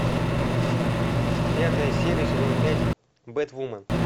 пятая серия сезон пять бэтвумен